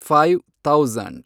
five thousand